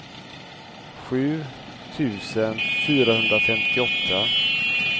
sju tusen fyrahundrafemtioåtta